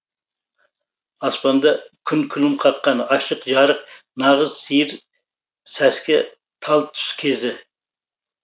аспанда күн күлім қаққан ашық жарық нағыз сиыр сәске тал түс кезі